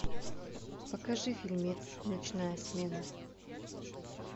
покажи фильмец ночная смена